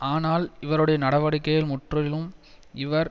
ஆனால் இவருடைய நடவடிக்கைகள் முற்றிலும் இவர்